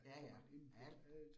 Ja ja, alt